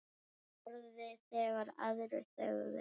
Þorði þegar aðrir þögðu.